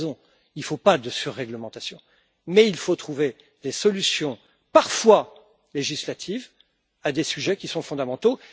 Il a raison. Il ne faut pas de surréglementation, mais il faut trouver des solutions parfois législatives à des sujets qui sont fondamentaux.